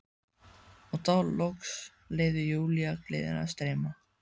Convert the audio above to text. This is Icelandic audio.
Og þá loks leyfði Júlía gleðinni að streyma.